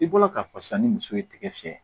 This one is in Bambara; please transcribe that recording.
I bɔra k'a fɔ sisan ni muso ye tigɛ fiyɛ